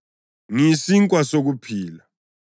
Ngiyisinkwa sokuphila.